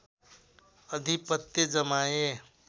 अधिपत्य जमाए